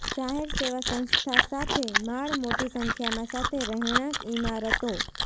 જાહેર સેવા સંસ્થા સાથે માળ મોટી સંખ્યામાં સાથે રહેણાંક ઇમારતો